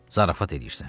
Zarafat eləyirsən?